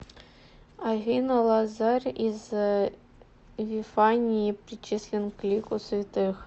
афина лазарь из вифании причислен к лику святых